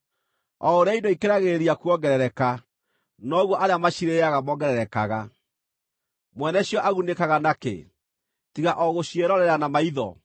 O ũrĩa indo ikĩragĩrĩria kuongerereka, noguo arĩa macirĩĩaga mongererekaga. Mwene cio agunĩkaga nakĩ, tiga o gũciĩrorera na maitho?